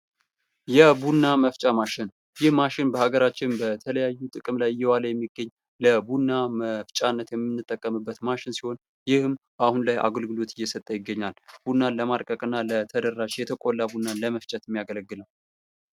የቡና መፍጫ ማሽን ይህ ማሽን በሀገራችን ለተለያዩ ላይ እየዋለ የሚገኝ ቡና መፍጫን የምንጠቀምበት ማሽን ይህም አሁን ላይ አገልግሎት የሰጠ ይገኛል። ለማድቀቅና ተደራሽ የተቆላ ቡናን ምጅለመፍጨት የሚያገለግል ነው።